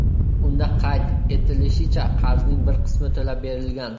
Unda qayd etilishicha, qarzning bir qismi to‘lab berilgan.